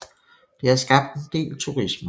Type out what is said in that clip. Det har skabt en del turisme